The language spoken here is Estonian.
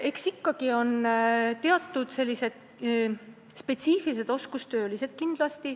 Eks need ole ikkagi teatud spetsiifilised oskustöölised.